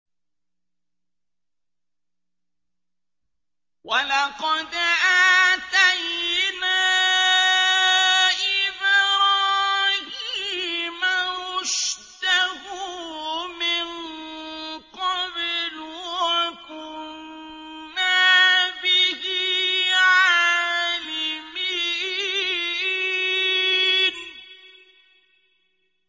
۞ وَلَقَدْ آتَيْنَا إِبْرَاهِيمَ رُشْدَهُ مِن قَبْلُ وَكُنَّا بِهِ عَالِمِينَ